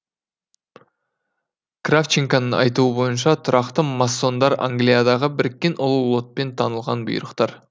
кравченканың айтуы бойынша тұрақты массондар англиядағы біріккен ұлы лотпен танылған бұйрықтар